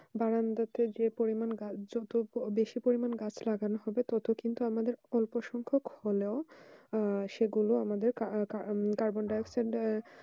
বারান্দাতে যে পরিমান গাছ হতো বেশি পরিমান গাছ লাগানো হতো ততো কিন্তু অল্প পরিমান হলেও সেই গুলো আমাদের কার্বনডাই অক্সাইড